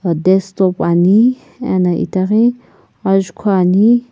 ah desktop ani ena itaghi ajukhu ani.